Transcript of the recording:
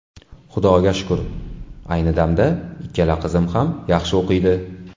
Xudoga shukur, ayni damda ikkala qizim ham yaxshi o‘qiydi.